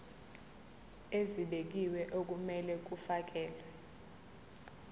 ezibekiwe okumele kufakelwe